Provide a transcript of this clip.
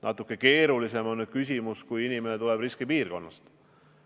Natuke keerulisem on küsimus siis, kui inimene tuleb riskipiirkonnast.